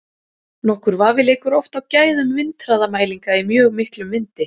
Nokkur vafi leikur oft á gæðum vindhraðamælinga í mjög miklum vindi.